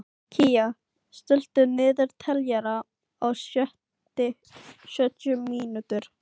Kía, stilltu niðurteljara á sjötíu mínútur.